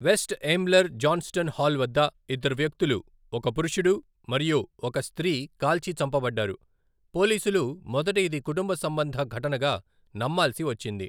West Ambler Johnston Hall వద్ద ఇద్దరు వ్యక్తులు, ఒక పురుషుడు మరియు ఒక స్త్రీ కాల్చి చంపబడ్డారు, పోలీసులు మొదటి ఇది కుటుంబ సంబంధ ఘటనగా నమ్మాల్సి వచ్చింది.